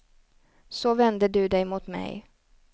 Så vände du dig mot mig.